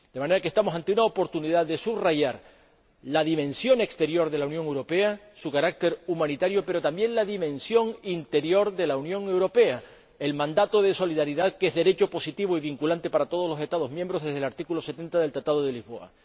De manera que estamos ante una oportunidad de subrayar la dimensión exterior de la Unión Europea, su carácter humanitario, pero también la dimensión interior de la Unión Europea, el mandato de solidaridad que es derecho positivo y vinculante para todos los Estados miembros desde el artículo 70 del Tratado de Lisboa.